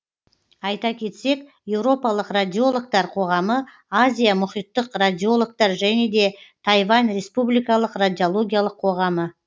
айта кетсек еуропалық радиологтар қоғамы азия мұхиттік радиологтар және де тайвань республикалық радиологиялық қоғамы